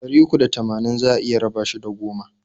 Ɗari uku da tamanin za a iya raba shi da goma.